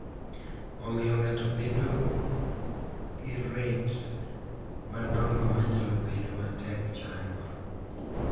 Omiyo ng’ato bedo gi ret madongo ma nyalo bedo matek chango.